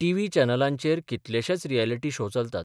TV चॅनलांचेर कितलेशेच reality show चलतात.